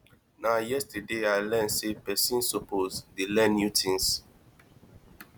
na yesterday i learn sey pesin suppose dey learn new tins